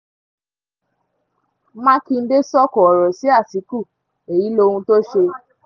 ó ti wáá dójú ẹ̀ àwọn agbébọn yìnbọn pa ọba àlàyé ọba àlàyé méjì lẹ́kìtì